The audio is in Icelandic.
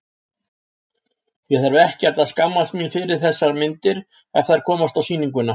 Ég þarf ekkert að skammast mín fyrir þessar myndir, ef þær komast á sýninguna.